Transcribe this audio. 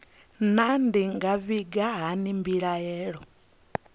naa ndi nga vhiga hani mbilaelo